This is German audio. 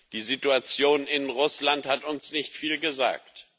Die Situation in Russland hat uns nicht viel gesagt.